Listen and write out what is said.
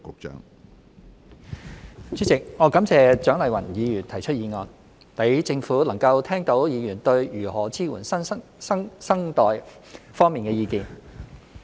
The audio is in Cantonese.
主席，我感謝蔣麗芸議員提出議案，讓政府能夠聽到議員對如何支援新生代方面的意見。